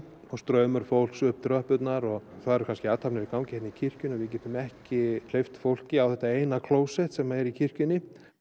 og straumur fólks upp tröppurnar og það eru kannski athafnir í gangi í kirkjunni og við getum ekki hleypt fólki á þetta eina klósett sem er í kirkjunni